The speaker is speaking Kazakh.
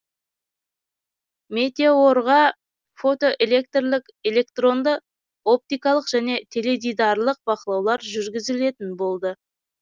метеорға фотоэлектрлік электронды оптикалық және теледидарлық бақылаулар жүргізілетін болды